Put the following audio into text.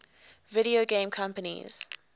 video game companies